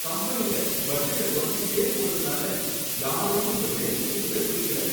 கம்பெனியில பட்ஜெட்ட குறைச்சுக்கிட்டே போறதுனால யாருக்கும் இங்க வேலை செய்யவே பிடிக்கல.